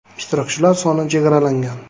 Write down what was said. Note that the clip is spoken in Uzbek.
Ishtirokchilar soni chegaralangan.